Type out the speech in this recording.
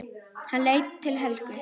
Hann leit til Helgu.